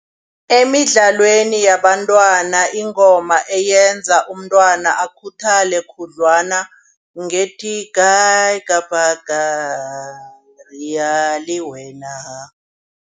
Emidlalweni yabantwana ingoma eyenza umntwana akhuthale khudlwana ngethi kae kapa kae liya lewena.